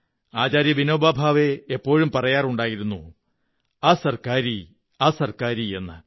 ആചാര്യ വിനോബാ ഭാവേ എപ്പോഴും പറയാറുണ്ടായിരുന്നു അ സര്ക്കാ രി അ സര്ക്കാ രി എന്ന്